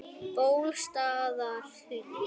Bólstaðarhlíð